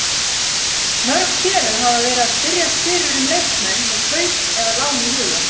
Mörg félög hafa verið að spyrjast fyrir um leikmenn með kaup eða lán í huga.